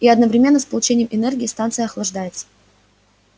и одновременно с получением энергии станция охлаждается